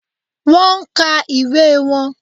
Wón nka ìwé won